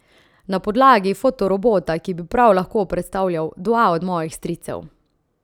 Na podlagi fotorobota, ki bi prav lahko predstavljal dva od mojih stricev.